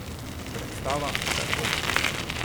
Predstava Čajkovski.